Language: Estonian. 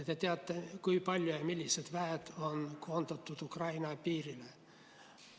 Te teate, kui palju ja milliseid vägesid on koondatud Ukraina piirile.